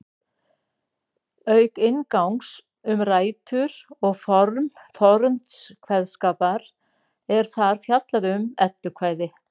Auk inngangs um rætur og form forns kveðskapar er þar fjallað um eddukvæði.